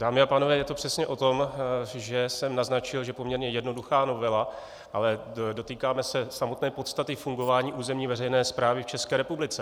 Dámy a pánové, je to přesně o tom, že jsem naznačil, že poměrně jednoduchá novela, ale dotýkáme se samotné podstaty fungování územní veřejné správy v České republice.